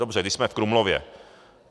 Dobře, když jsme v Krumlově.